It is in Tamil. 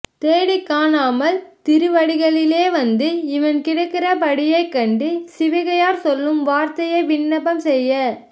தேடிக் காணாமல் திருவடிகளிலே வந்து இவன் கிடக்கிற படியைக் கண்டு சிவிகையார் சொல்லும் வார்த்தையை விண்ணப்பம் செய்ய